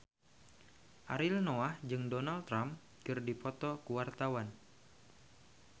Ariel Noah jeung Donald Trump keur dipoto ku wartawan